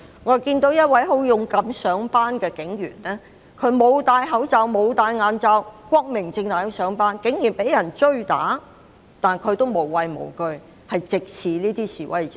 我看到一名警員勇敢上班，他沒有戴口罩、眼罩，光明正大地上班，卻竟然被追打，但他無畏無懼，直視那些示威者。